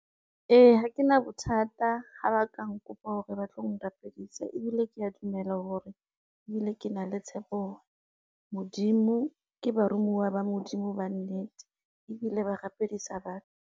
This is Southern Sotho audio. Ee ha ke na bothata ha ba ka nkopa hore ba tlo nrapedisa ebile kea dumela hore ebile ke na le tshepo hore, ke baromuwa ba Modimo ba nnete ebile ba rapedisa batho.